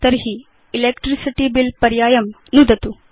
तर्हि electricity bill पर्यायं नुदतु